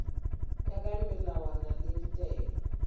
ya ka melawana le ditaelo